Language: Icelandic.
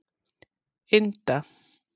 Inda